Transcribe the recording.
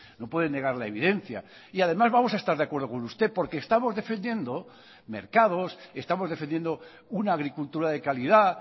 no puede negar la evidencia y además vamos a estar de acuerdo con usted porque estamos defendiendo mercados estamos defendiendo una agricultura de calidad